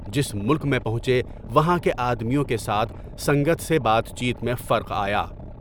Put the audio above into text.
جس ملک میں پہنچے، وہاں کے آدمیوں کے ساتھ سنگت سے بات چیت میں فرق آیا۔